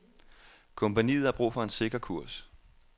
Kompagniet har brug for en sikker kurs.